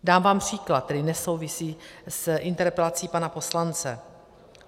Dám vám příklad, který nesouvisí s interpelací pana poslance.